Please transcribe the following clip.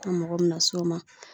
An mago bena s'o ma